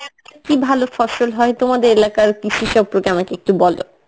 কী ভালো ফসল হয় তোমাদের এলাকার কৃষি সম্পর্কে আমাকে একটু বলো?